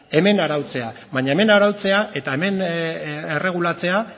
hemen arautzea baina hemen arautzea eta hemen erregulatzea